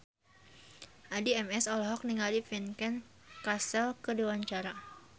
Addie MS olohok ningali Vincent Cassel keur diwawancara